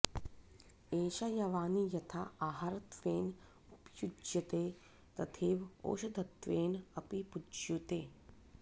एषा यवानी यथा आहारत्वेन उपयुज्यते तथैव औषधत्वेन अपि उपयुज्यते